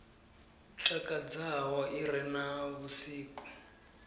takadzaho i re na vhusiki